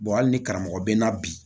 hali ni karamɔgɔ bɛ n na bi